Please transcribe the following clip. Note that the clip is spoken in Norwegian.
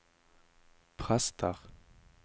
prester